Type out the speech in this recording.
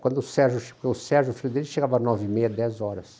Quando o Sérgio, che o Sérgio o filho dele, chegava às nove e meia, dez horas.